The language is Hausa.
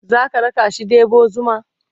zaka rakashi ɗebo zuma?